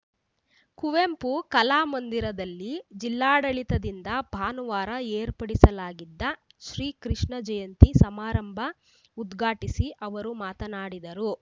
ಕುವೆಂಪು ಕಲಾಮಂದಿರದಲ್ಲಿ ಜಿಲ್ಲಾಡಳಿತದಿಂದ ಭಾನುವಾರ ಏರ್ಪಡಿಸಲಾಗಿದ್ದ ಶ್ರೀ ಕೃಷ್ಣ ಜಯಂತಿ ಸಮಾರಂಭ ಉದ್ಘಾಟಿಸಿ ಅವರು ಮಾತನಾಡಿದರು